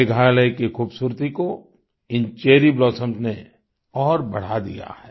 मेघालय की खूबसूरती को इन चेरी ब्लॉसम्स ने और बढ़ा दिया है